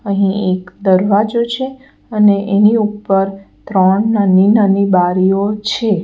અહીં એક દરવાજો છે અને એની ઉપર ત્રણ નાની-નાની બારીઓ છે.